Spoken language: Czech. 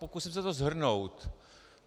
Pokusím se to shrnout.